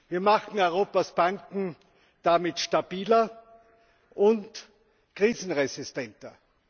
Wir machen Europas Banken damit stabiler und krisenresistenter.